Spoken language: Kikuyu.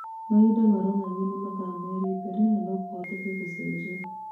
Mahinda maronania nĩ mathaa merĩ mbere na kũhotekeke gũcenjia